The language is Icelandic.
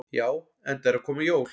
Já, enda eru að koma jól.